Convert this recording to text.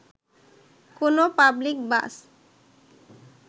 কোন পাবলিক বাস